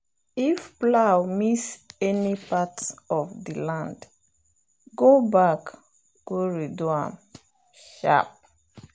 if plow miss any part of the land go back go redo am sharp.